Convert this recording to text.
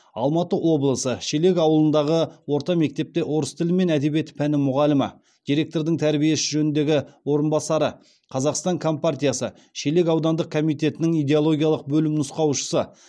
алматы облысы шелек ауылындағы орта мектепте орыс тілі мен әдебиеті пәні мұғалімі директордың тәрбие ісі жөніндегі орынбасары қазақстан компартиясы шелек аудандық комитетінің идеологиялық бөлім нұсқаушысы